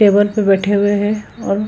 table पे बैठे हुए है और --